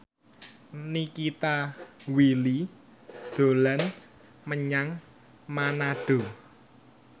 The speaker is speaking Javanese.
Nikita Willy dolan menyang Manado